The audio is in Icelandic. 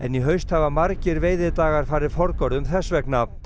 í haust hafa margir veiðidagar farið forgörðum þess vegna